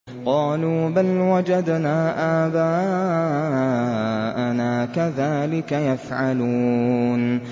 قَالُوا بَلْ وَجَدْنَا آبَاءَنَا كَذَٰلِكَ يَفْعَلُونَ